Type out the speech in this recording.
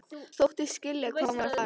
Þóttist skilja hvað hún var að fara.